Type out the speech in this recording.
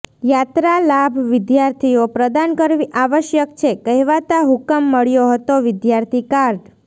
યાત્રા લાભ વિદ્યાર્થીઓ પ્રદાન કરવી આવશ્યક છે કહેવાતા હુકમ મળ્યો હતો વિદ્યાર્થી કાર્ડ